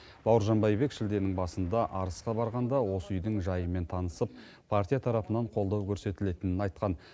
бауыржан байбек шілденің басында арысқа барғанда осы үйдің жайымен танысып партия тарапынан қолдау көрсетілетінін айтқан